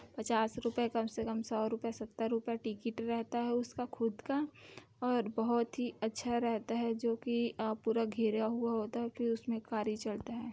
पचास रूपए कम से कम सौ रुपए सत्तर रुपए टीकिट रहता है उसका खुद का और बहुत ही अच्छा रहता है जोकि अ पूरा घेरा हुआ होता है फिर उसमें खारी चढ़ता हैं।